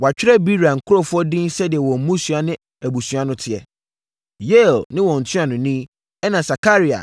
Wɔatwerɛ Beera nkurɔfoɔ din sɛdeɛ wɔn mmusua ne abusua no teɛ: Yeiel ne wɔn ntuanoni, ɛnna Sakaria